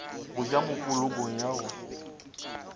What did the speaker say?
go ja mopolokong ya go